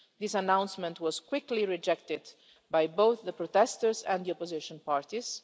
This announcement was quickly rejected by both the protesters and the opposition parties.